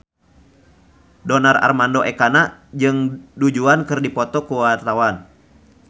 Donar Armando Ekana jeung Du Juan keur dipoto ku wartawan